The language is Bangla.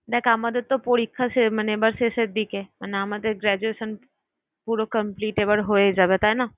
দেখ আমাদের তো পরীক্ষা শে~ মানে এবার শেষের দিকে মানে আমাদের graduation পুরো complete এবার হয়ে যাবে তাই না?